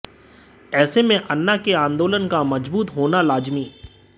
ऐसे में अन्ना के आंदोलन का मज़बूत होना लाज़िमी